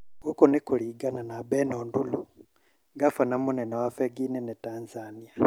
Gũkũ nĩ kũringana na Beno Ndulu, ngabana mũnene wa bengi nene Tanzania